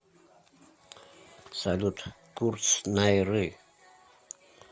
салют курс найры